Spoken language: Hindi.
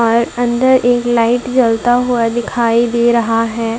और अंदर एक लाइट जलता हुआ दिखाई दे रहा है।